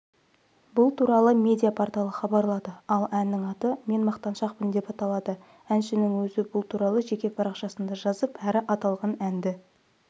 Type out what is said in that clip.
бұл туралы медиа-порталы хабарлады ал әннің аты мен мақтаншақпын деп аталады әншің өзі бұл туралы жеке парақшасында жазып әрі аталған әнді